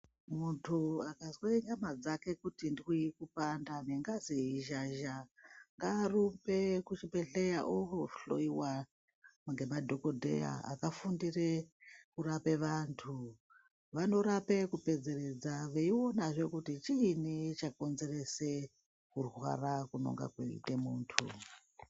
Muntu akazwe nyama dzake kuti ndwii kupanda ,nengazi yeizhazha, ngaarumbe kuchibhedhleya, oohloiwa ngemadhokodheya akafundire kurape vantu. Vanorape kupedzeredza, veionazve kuti chiini chakonzerese kurwara kunonga kweiite muntu.